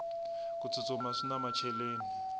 ku tsutsuma swina macheleni